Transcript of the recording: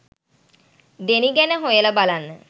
Denis ගැන හොයලා බලන්න